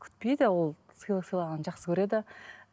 күтпейді ол сыйлық сыйлағанды жақсы көреді